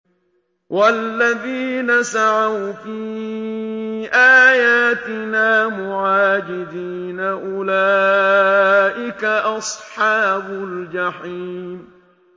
وَالَّذِينَ سَعَوْا فِي آيَاتِنَا مُعَاجِزِينَ أُولَٰئِكَ أَصْحَابُ الْجَحِيمِ